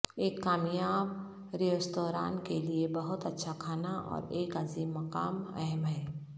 ایک کامیاب ریستوران کے لئے بہت اچھا کھانا اور ایک عظیم مقام اہم ہے